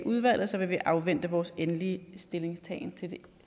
udvalget vil vi afvente vores endelige stillingtagen til det